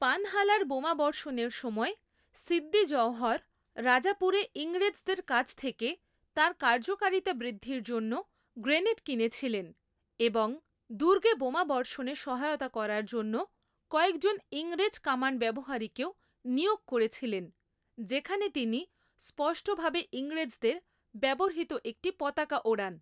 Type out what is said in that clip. পানহালার বোমাবর্ষণের সময়, সিদ্দি জওহর রাজাপুরে ইংরেজদের কাছ থেকে তাঁর কার্যকারিতা বৃদ্ধির জন্য গ্রেনেড কিনেছিলেন এবং দুর্গে বোমাবর্ষণে সহায়তা করার জন্য কয়েকজন ইংরেজ কামান ব্যবহারীকেও নিয়োগ করেছিলেন, যেখানে তিনি স্পষ্টভাবে ইংরেজদের ব্যবহৃত একটি পতাকা ওড়ান।